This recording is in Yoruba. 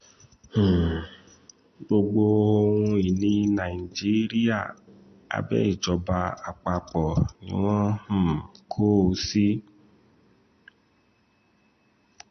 um gbogbo ohun-ìní nàìjíríà abẹ́ ìjọba àpapọ̀ ni wọ́n um kó o sí